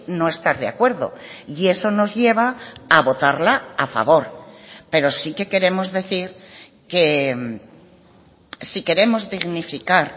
no estar de acuerdo y eso nos lleva a botarla a favor pero sí que queremos decir que si queremos dignificar